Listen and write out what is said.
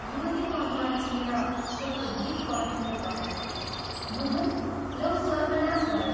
युवतीको अनुहार चिनेर शेखर भीत कण्ठले करायो, " मोहन, लौ सर्वनाश भयो।